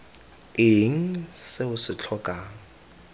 eng se o se tlhokang